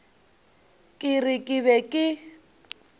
ke re ke be ke